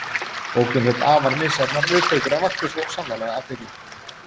Bókin hlaut afar misjafnar viðtökur en vakti svo sannarlega athygli.